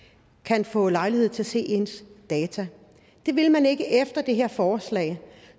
kan få lejlighed til at se ens data det vil man ikke efter det her forslag